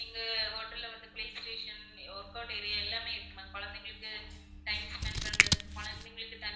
எங்க hotel ல வந்து play station, workout area எல்லாமே இருக்கு ma'am கொழந்தைங்களுக்கு time spend பண்றதுக்கு கொழந்தைங்களுக்கு தனி